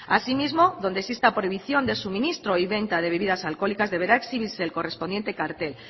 asimismo donde exista prohibición de suministro y venta de bebidas alcohólicas deberá exhibirse el correspondiente cartel